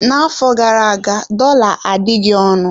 N'afọ gara aga, dollar adịghị ọnụ.